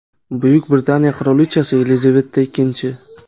Buyuk Britaniya qirolichasi Yelizaveta Ikkinchi.